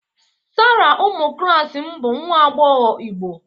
Sarah ụmụ klas m bụ nwa agbọghọ Igbo